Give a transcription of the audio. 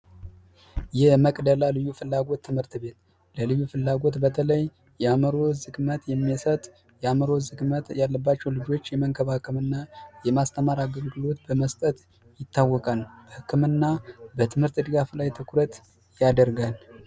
የመቅደላ ልዩ ፍላጎት ትምህርት ቤት ልዩ ፍላጎት ትምህርት ቤት በተለይ የአእምሮ ዝግመት ያለባቸውን ልጆች የመንከባከብና የማስተማር አገልግሎት በመስጠት ይታወቃል በህክምናና በትምህርት ድጋፍ ላይ አስተዋጽኦ ያደርጋል።